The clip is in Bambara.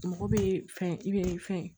Mɔgɔ bɛ fɛn i bɛ fɛn